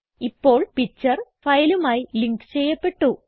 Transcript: ഇപ്പോൾ പിക്ചർ ഫയലുമായി ലിങ്ക് ചെയ്യപ്പെട്ടു